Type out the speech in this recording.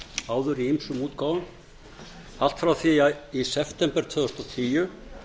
áður í ýmsum útgáfum allt frá því í september tvö þúsund og tíu